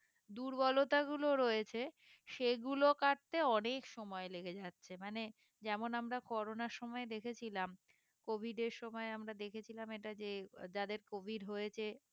দুর্বলতা গুলো রয়েছে সেগুলো কাটতে অনেক সময় লেগে যাচ্ছে মানে যেমন আমরা কোরোনার সময় দেখেছিলাম covid এর সময় আমরা দেখেছিলাম এটা যে যাদের covid হয়েছে